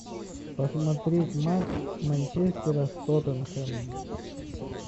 посмотреть матч манчестера с тоттенхэмом